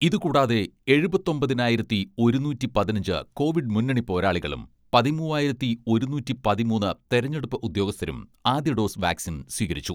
ഇതുകൂടാതെ എഴുപത്തൊമ്പതിനായിരത്തി ഒരുനൂറ്റി പതിനഞ്ച് കോവിഡ് മുന്നണി പോരാളികളും പതിമുവ്വായിരത്തി ഒരുനൂറ്റി പതിമൂന്ന് തെരഞ്ഞെടുപ്പ് ഉദ്യോഗസ്ഥരും ആദ്യ ഡോസ് വാക്സിൻ സ്വീകരിച്ചു.